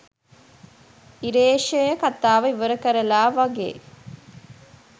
ඉරේශය කතාව ඉවරකරලා වගේ